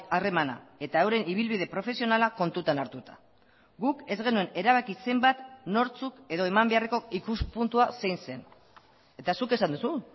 harremana eta euren ibilbide profesionala kontutan hartuta guk ez genuen erabaki zenbat nortzuk edo eman beharreko ikuspuntua zein zen eta zuk esan duzu